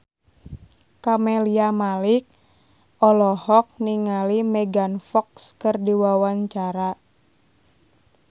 Camelia Malik olohok ningali Megan Fox keur diwawancara